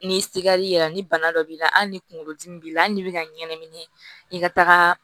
Ni sigar'i la ni bana dɔ b'i la hali ni kunkolo dimi b'i la hali n'i bɛ ka ɲɛnamini i ka taga